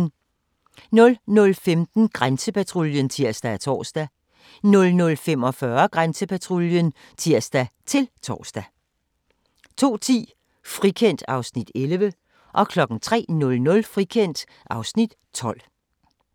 00:15: Grænsepatruljen (tir og tor) 00:45: Grænsepatruljen (tir-tor) 02:10: Frikendt (Afs. 11) 03:00: Frikendt (Afs. 12)